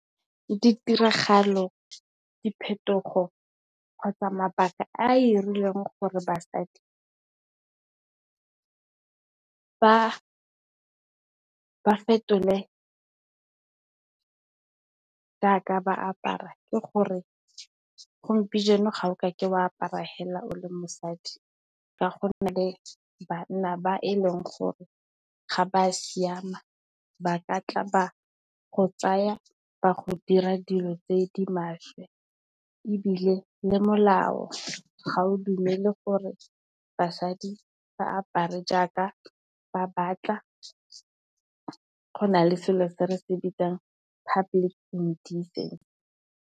Ditiragalo, diphetogo kgotsa mabaka a irileng gore basadi ba fetole ya ka ba apara. Ke gore gompieno, ga o ka ke wa apara hela o le mosadi ka gonne, banna ba e leng gore ga ba siama ba ka tla ba go tsaya ba go dira dilo tse di maswe. Ebile, le molao ga o dumele gore basadi ba apare jaaka ba batla, go na le selo se re se bitsang public indecency.